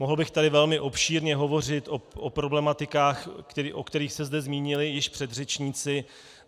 Mohl bych tady velmi obšírně hovořit o problematikách, o kterých se zde zmínili již předřečníci.